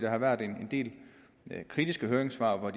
har været en del kritiske høringssvar og